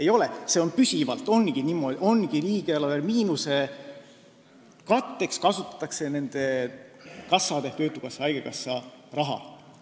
Ei ole, see on püsivalt niimoodi, et riigieelarve miinuse katteks kasutatakse nende kassade ehk töötukassa ja haigekassa raha.